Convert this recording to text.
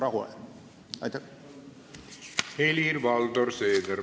Helir-Valdor Seeder, palun!